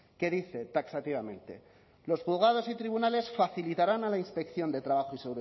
que dice taxativamente los juzgados y tribunales facilitarán a la inspección de trabajo y